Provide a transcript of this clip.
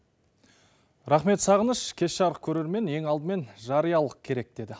рахмет сағыныш кеш жарық көрермен ең алдымен жариялық керек деді